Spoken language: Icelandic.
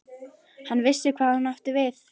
Hann vissi hvað hún átti við.